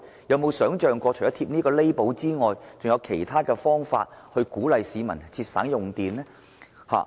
有否考慮除了能源標籤外，還有甚麼其他方法鼓勵市民節約用電？